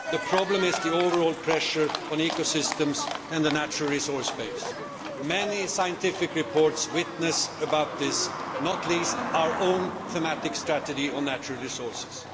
The problem is the overall pressure on ecosystems and the natural resource base. Many scientific reports bear witness to this, not least our own thematic strategy on natural resources.